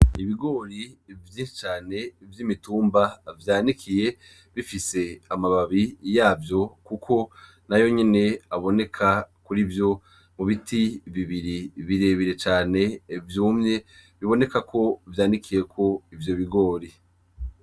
Ibigori vyinshi cane vy'imitumba vyanikiye bifise amababi yavyo Kuko Nayo nyene aboneka kurivyo mu biti bibiri birebire cane vyumye bibonekeko vyanikiyeko ivyo bigori.